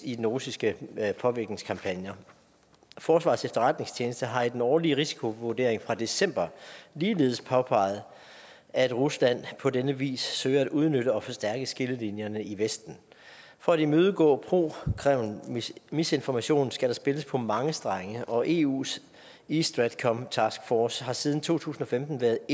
i den russiske påvirkningskampagne forsvarets efterretningstjeneste har i den årlige risikovurdering fra december ligeledes påpeget at rusland på denne vis søger at udnytte og forstærke skillelinjerne i vesten for at imødegå pro kreml misinformation skal der spilles på mange strenge og eus east stratcom taskforce har siden to tusind og femten været